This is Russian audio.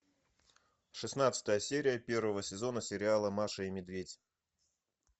шестнадцатая серия первого сезона сериала маша и медведь